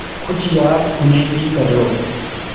कुछ याद उन्हें भी कर लो